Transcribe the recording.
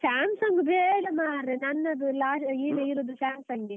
Samsung ಬೇಡ ಮಾರ್ರೆ, ನನ್ನದು ಈಗ ಇರುದು Samsung ಎ.